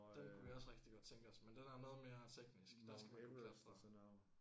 Og øh Mount Everest og sådan noget